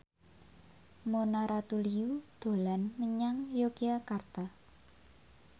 Mona Ratuliu dolan menyang Yogyakarta